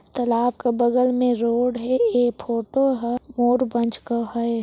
तालाब क बगल में रोड हे ए फोटो हे मोर पंख का है।